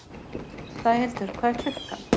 Sæhildur, hvað er klukkan?